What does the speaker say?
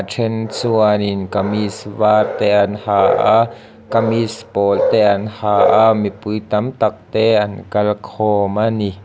then chuanin kamis var te an ha a kamis pawl te an ha a mipui tam tak te an kal khawm ani.